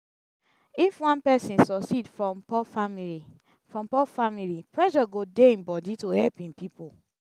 if one person suceed from poor family from poor family pressure go dey im body to help im pipo